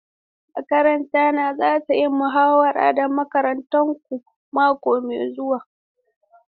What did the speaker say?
Makaranta na za ta yi muhawara da makarantarku mako mai zuwa.